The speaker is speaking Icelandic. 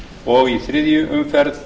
og í þriðju umferð